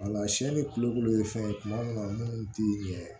ni kulukulu ye fɛn ye kuma min na munnu ti ɲɛ